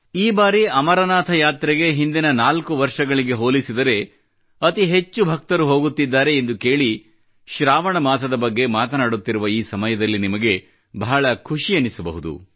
ಈ ಬಾರಿ ಅಮರನಾಥ್ ಯಾತ್ರೆಗೆ ಹಿಂದಿನ ನಾಲ್ಕು ವರ್ಷಗಳಿಗೆ ಹೋಲಿಸಿದರೆ ಎಲ್ಲಕ್ಕಿಂತ ಹೆಚ್ಚು ಭಕ್ತರು ಹೋಗುತ್ತಿದ್ದಾರೆ ಎಂದು ಕೇಳಿ ಶ್ರಾವಣ ಮಾಸದ ಬಗ್ಗೆ ಮಾತನಾಡುತ್ತಿರುವ ಈ ಸಮಯದಲ್ಲಿ ನಿಮಗೆ ಬಹಳ ಖುಷಿಯೆನಿಸಬಹುದು